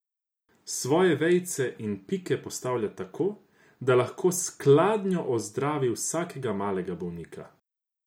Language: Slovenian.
Svoje vejice in pike postavlja tako, da lahko s skladnjo ozdravi vsakega malega bolnika.